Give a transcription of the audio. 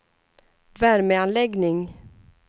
värmeanläggning